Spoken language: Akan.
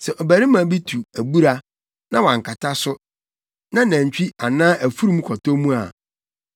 “Sɛ ɔbarima bi tu abura, na wankata so, na nantwi anaa afurum kɔtɔ mu a,